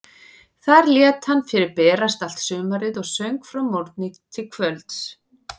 Þar lét hann fyrir berast allt sumarið og söng frá morgni til kvölds.